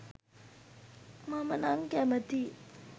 මම නං කැමතියි.